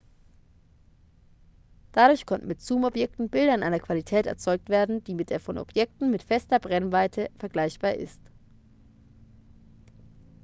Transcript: dadurch konnten mit zoomobjektiven bilder in einer qualität erzeugt werden die mit der von objektiven mit fester brennweite vergleichbar ist